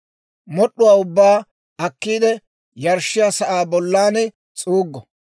Mod'd'uwaa ubbaa akkiide, yarshshiyaa sa'aa bollan s'uuggo.